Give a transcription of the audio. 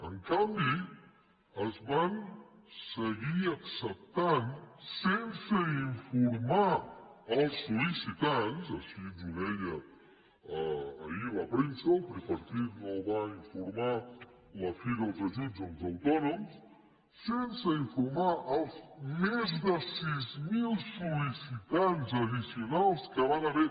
en canvi es van seguir acceptant sense informar els sollicitants així ens ho deia ahir la premsa el tripartit no va informar de la fi dels ajuts als autònoms sense informar els més de sis mil sol·licitants addicionals que hi van haver